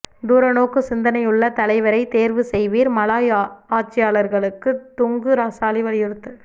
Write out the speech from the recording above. தூர நோக்கு சிந்தனையுள்ள தலைவரை தேர்வு செய்வீர் மலாய் ஆட்சியாளர்களுக்கு துங்கு ரசாலி வலியுறுத்து